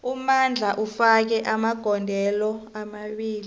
umandla ufake amagondelo amabili